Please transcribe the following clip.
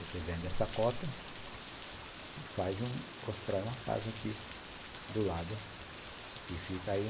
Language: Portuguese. Você vende essa cota e constrói uma casa aqui do lado e fica aí.